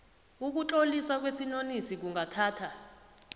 ukutloliswa kwesinonisi kungathatha